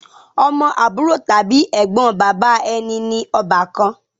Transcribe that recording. Ọmọ àbúrò tàbí Ẹ̀gbọ́n bàbá ẹni ní ọbakan